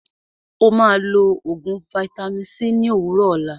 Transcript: Ó máà lọ oògùn vaitami c ní òwúrọ̀ òlá.